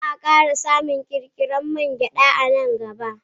Zaa kara samun kirkirarren mangyada a nan gaba.